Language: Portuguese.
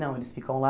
Não, eles ficam lá.